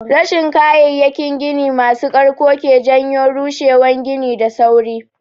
Rashin kayayyakin gini masu ƙarko ke janyo rushewan gini da sauri.